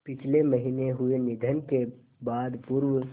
पिछले महीने हुए निधन के बाद पूर्व